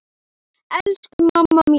Elsku mamma mín!